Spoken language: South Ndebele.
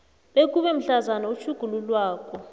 bekube mhlazana utjhugululwako